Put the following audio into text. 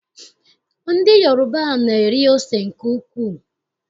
Ndị Yoroba na-eri ose nke ukwuu.